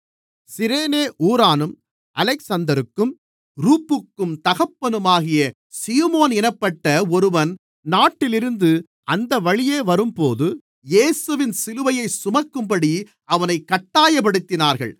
சிரேனே ஊரானும் அலெக்சந்தருக்கும் ரூப்புக்கும் தகப்பனுமாகிய சீமோன் என்னப்பட்ட ஒருவன் நாட்டிலிருந்து அந்த வழியே வரும்போது இயேசுவின் சிலுவையைச் சுமக்கும்படி அவனைக் கட்டாயப்படுத்தினார்கள்